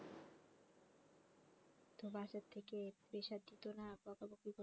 তো বাসার থেকে pressure দিতো না বকাবকি করতো